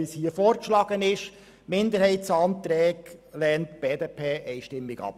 Die Minderheitsanträge lehnt die BDP einstimmig ab.